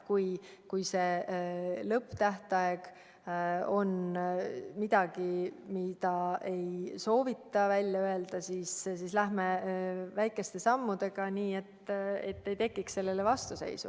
Kui see lõpptähtaeg on midagi, mida ei soovita välja öelda, siis läheme väikeste sammudega, nii et ei tekiks vastuseisu.